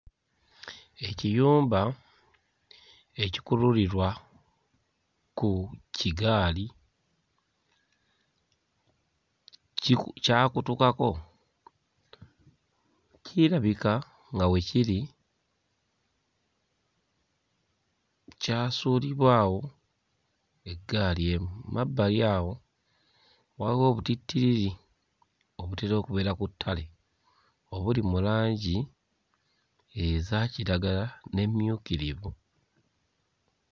Ekiyumba ekikululirwa ku kigaali kiku... kyakutukako, kirabika nga we kiri kyasuulibwa awo eggaali emu. Mu mabbali awo waliwo obutittiriri obutera okubeera ku ttale obuli mu langi eza kiragala n'emmyukirivu.